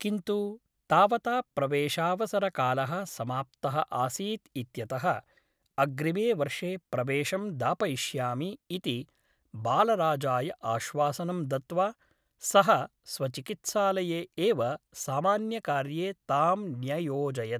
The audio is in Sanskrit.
किन्तु तावता प्रवेशावसरकालः समाप्तः आसीत् इत्यतः अग्रिमे वर्षे प्रवेशं दापयिष्यामि इति बालराजाय आश्वासनं दत्त्वा सः स्वचिकित्सालये एव सामान्यकार्ये तां न्ययोजयत् ।